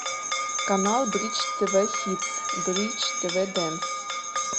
канал бридж тв хитс бридж тв дэнс